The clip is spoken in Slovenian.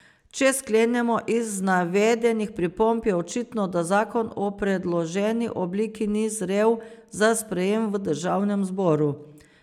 Če sklenemo, iz navedenih pripomb je očitno, da zakon v predloženi obliki ni zrel za sprejem v državnem zboru.